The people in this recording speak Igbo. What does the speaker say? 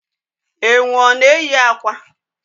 Enwe ọ na eyi akwa?